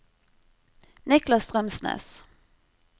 Niklas Strømsnes